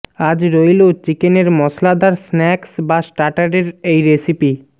আজ রইল চিকেনের মশলাদার স্ন্যাকস বা স্টার্টারের এই রেসিপি